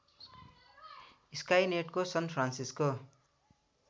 स्काइनेटको San Francisco